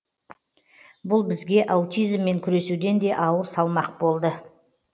бұл бізге аутизммен күресуден де ауыр салмақ болды